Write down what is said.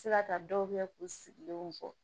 Se ka taa dɔw kɛ k'u sigilen fɔ